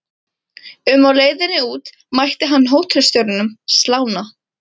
um á leiðinni út mætti hann hótelstjóranum, slána